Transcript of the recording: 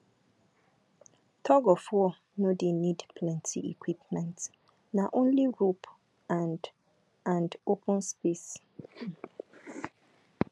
tugofwar no dey need plenty equipment na only rope and and open space um